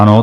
Ano.